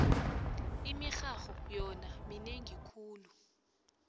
imirharho yona minengi khulu